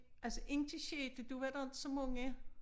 Altså ind til sjette der var der inte så mange